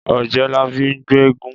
Ọ̀jẹ́labí ń gbéégún